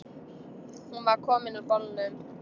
Hún var komin úr bolnum.